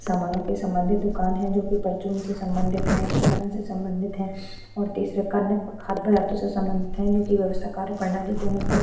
सामानों के सम्बन्धित दुकान है जो कि परचून से संबंधित हैं किरानो से संबंधित है और तीसरा खद्य पदार्थों से संबंधित हैं जिनकी व्यवस्था कार्य प्रणाली के अनुसार --